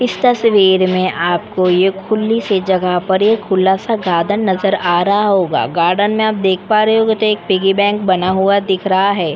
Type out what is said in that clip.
इस तस्वीर में आप को ये खुली सी जगह पर एक खुला सा गार्डन नजर आ रहा होगा गार्डन में आप देख पा रहे होगे तो एक पिगी बैंक बना हुआ है।